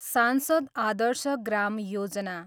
सांसद आदर्श ग्राम योजना